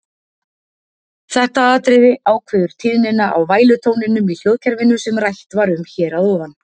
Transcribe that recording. Þetta atriði ákveður tíðnina á vælutóninum í hljóðkerfinu sem rætt var um hér að ofan.